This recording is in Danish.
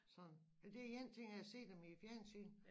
Sådan det er én ting at se dem i æ fjernsyn